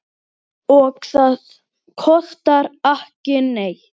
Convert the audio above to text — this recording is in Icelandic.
Og það kostar ekki neitt.